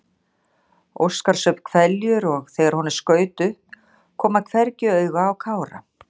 Óskar saup hveljur og þegar honum skaut upp kom hann hvergi auga á Kára.